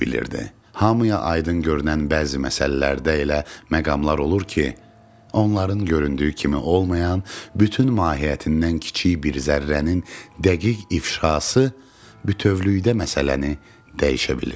Hamıya aydın görünən bəzi məsələlərdə elə məqamlar olur ki, onların göründüyü kimi olmayan, bütün mahiyyətindən kiçik bir zərrənin dəqiq ifşası bütövlükdə məsələni dəyişə bilir.